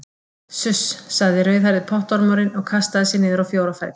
Suss sagði rauðhærði pottormurinn og kastaði sér niður á fjóra fætur.